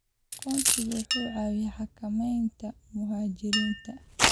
Aqoonsigu wuxuu caawiyaa xakameynta muhaajiriinta.